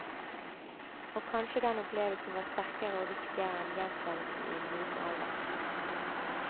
Og kanskje den opplevelsen var sterkere og viktigere enn gjentagelsen i moden alder.